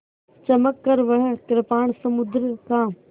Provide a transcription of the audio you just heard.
चमककर वह कृपाण समुद्र का